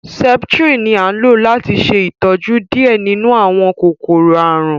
septrin ní a lò láti ṣe ìtọjú diẹ nínú àwọn kòkòrò àrùn